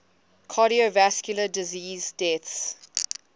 cardiovascular disease deaths